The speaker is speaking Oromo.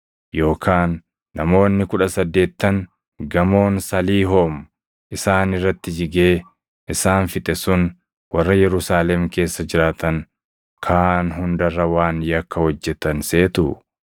Yookaan namoonni kudha saddeettan gamoon Saliihoom isaan irratti jigee isaan fixe sun warra Yerusaalem keessa jiraatan kaan hunda irra waan yakka hojjetan seetuu?